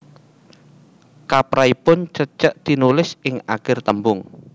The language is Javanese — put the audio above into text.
Kaprahipun cecek tinulis ing akir tembung